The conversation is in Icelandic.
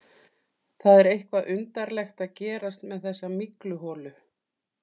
Það er eitthvað undarlegt að gerast með þessa mygluholu.